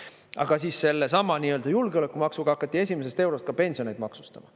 Aga sellesama julgeolekumaksuga hakati esimesest eurost ka pensione maksustama.